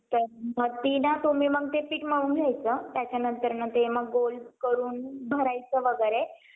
जर तुम्ही तो पाहिला असेल तर त्या पुढच्या वेळी नक्की पहा जर तुम्ही train ने प्रवास करत असल्यास तर तुम्ही स्वस्थ काळी रुपयाचा प्रवास विमा करू शकता त्यामध्ये तुम्हाला दहा लाख रुपये पर्यंत